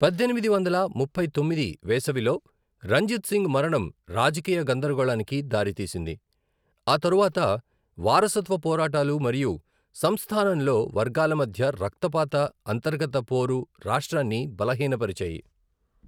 పద్దెనిమిది వందల ముప్పై తొమ్మిది వేసవిలో రంజిత్ సింగ్ మరణం రాజకీయ గందరగోళానికి దారితీసింది, ఆ తరువాత వారసత్వ పోరాటాలు మరియు సంస్థానంలో వర్గాల మధ్య రక్తపాత అంతర్గత పోరు రాష్ట్రాన్ని బలహీనపరిచాయి.